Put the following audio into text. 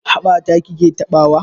Haɓa ta ki ke taɓawa?